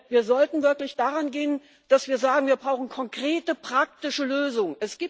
Wir sollten wirklich daran gehen, dass wir sagen Wir brauchen konkrete praktische Lösungen.